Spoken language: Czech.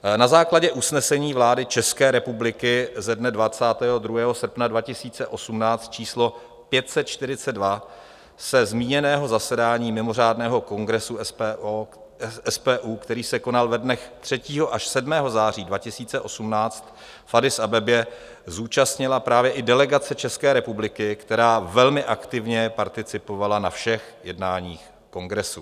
Na základě usnesení vlády České republiky ze dne 22. srpna 2018 číslo 542 se zmíněného zasedání mimořádného kongresu SPU, který se konal ve dnech 3. až 7. září 2018 v Addis Abebě, zúčastnila právě i delegace České republiky, která velmi aktivně participovala na všech jednáních kongresu.